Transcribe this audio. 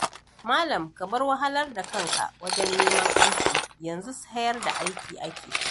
Malam ka bar wahalar da kanka wajen neman aiki, yanzu sayar da aikin ake.